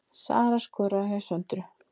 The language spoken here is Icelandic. Sara skoraði hjá Söndru